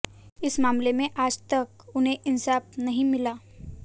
इस मामले में आज तक उन्हें इंसाफ नहीं मिला